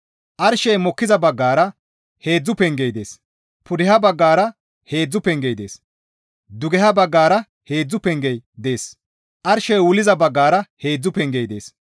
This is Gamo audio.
Arshey mokkiza baggara heedzdzu pengey dees; pudeha baggara heedzdzu pengey dees; dugeha baggara heedzdzu pengey dees arshey wulliza baggara heedzdzu pengey dees.